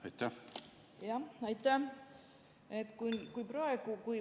Aitäh!